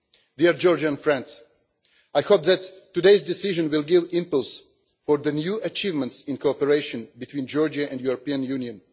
Dear Georgian friends, I hope that today's decision will give impetus for the new achievements in cooperation between Georgia and the European Union.